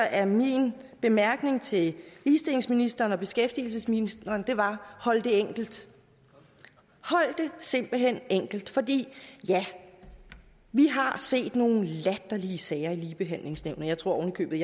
at min bemærkning til ligestillingsministeren og beskæftigelsesministeren jeg var hold det enkelt hold det simpelt hen enkelt for vi vi har set nogle latterlige sager i ligebehandlingsnævnet jeg tror oven i købet